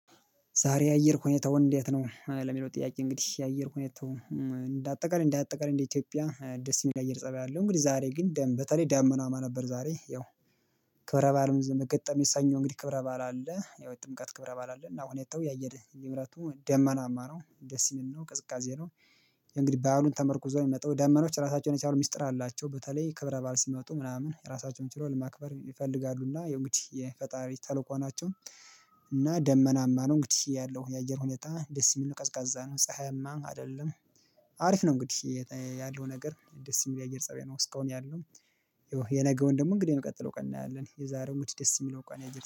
ዛሬ የአየር ሁኔታውን እንዴት ነው? ለሚለው ጥያቄ እንግዲህ የአየር ሁኔታውን እንደ አጠቃላይ እንደ አጠቃላይ እንደ ኢትዮጵያ ደስ የሚል የአየር ፅባይ አለው። እንግዲህ ዛሬ ግን ደም በተለይ ዳመናማ ነበር። ዛሬ ያው ክብረ ባልም ዘመገጠመኝ ሰኞ እንግዲህ ክብረ ባል አለ ያው ጥምቀት ክብረ ባል አለ እና አሁን የተው ያየር ልብረቱ ደመናማ ነው ደስ የሚለው ቅዝቃዜ ነው። እንግዲህ ባሉን ተመርኩ ዞር የመጣው ደመኖች ራሳቸውን የቻሉ ሚስጥር አላቸው በተለይ ክብረ ባል ሲመጡ ምናምን ራሳቸውን ችሎ ለማክበር ይፈልጋሉና የእንግዲህ የፈጣሪ ተልኮ ናቸው። እና ደመናማ ነው እንግዲህ ያለው የአየር ሁኔታ ደስ የሚል ቀዝቃዛ ነው ፀሀይማ አይደለም። አሪፍ ነው እንግዲህ ያለው ነገር ደስ የሚለው የአየር ፀብያ ነው እስካሁን ያለው። የነገውን ደግሞ እንግዲህ ነው የምቀጥለው ቀን እናያለን የዛሬው ደስ ደስ የሚለው ቀን